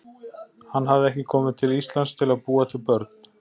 Hann hafði ekki komið til Íslands til að búa til börn.